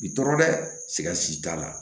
Bi tɔɔrɔ dɛ sigasi t'a la